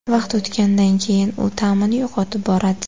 Vaqt o‘tganidan keyin u ta’mini yo‘qotib boradi.